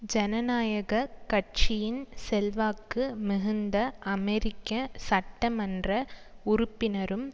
ஜனநாயக கட்சியின் செல்வாக்கு மிகுந்த அமெரிக்க சட்ட மன்ற உறுப்பினரும்